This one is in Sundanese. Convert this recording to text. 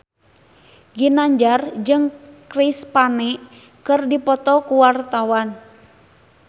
Ginanjar jeung Chris Pane keur dipoto ku wartawan